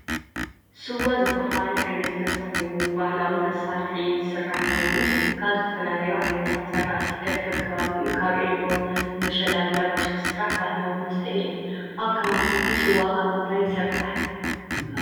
ስዋ ዝበሃል ዓይነት መሰተ ኮይኑ ብባህላዊ መሳርሒ ዝሰራሕ ኮይኑ ካብ ዝተፈላለዮ ዓይነት ዝራእቲ ኸከም ከባቢኡ ካብ ዕልዎ ፣፣ ምሸላ ዳጉሻ ዝሰራሕ ባህላዊ መሰተ አዮ ።አብ ከባቢኩም ስዋ ካብ ምንይታይ ይስራሕ?